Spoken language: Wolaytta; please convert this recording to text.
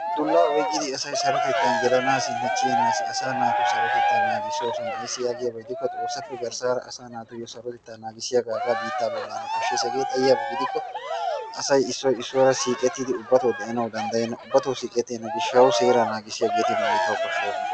Dullaa oyqqidi asay sarotettan gelanaassinne kiyanaassi asaa naatu sarotettaa naagissoosona. ayissi yaagiyaba gidikko xoossappe garssaara asaa naatu sarotettaa naagissiyaga hagaa biittaa bollan koshshes. Hagee xayiyaba gidikko asay siioy issuwara siiqettidi ubbatoo de'anawu danddayenna. Ubbatoo siiqettenna gishshawu seeraa naagissiyageeti nu biittawu koshshoosona.